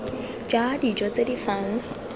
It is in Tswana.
ja dijo tse di fang